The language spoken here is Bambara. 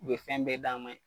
U be fɛn bɛɛ d'an ma yen